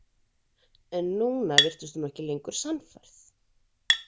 En núna virtist hún ekki lengur sannfærð.